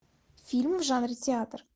фильм в жанре театр